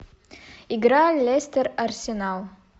игра лестер арсенал